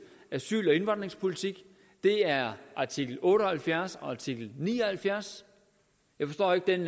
asyl og indvandringspolitik er artikel otte og halvfjerds og artikel ni og halvfjerds jeg forstår ikke den